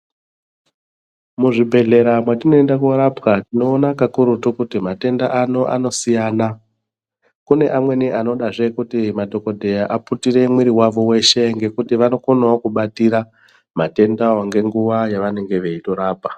Muzvibhedhlera mwatinoenda korapwa tinoona kakurutu kuti matenda anoanosiyana kune amweni anodazve kuti madhikodheya aputire mwiri wavo weshe ngekuti vanokonawo kubatira matendawo nenguwa yavanenge veitorapa